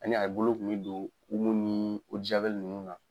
Ani a bolo kun be don omo ni o de jawɛli nunnu na